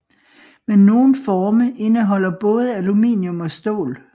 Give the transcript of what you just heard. Men nogle forme indeholder både aluminium og stål